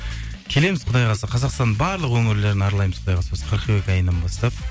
келеміз құдай қаласа қазақстанның барлық өңірлерін аралаймыз құдай қаласа осы қыркүйек айынан бастап